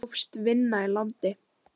Þá hófst vinna í landi.